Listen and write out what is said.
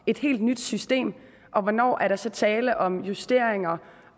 et helt nyt system og hvornår er der så tale om justeringer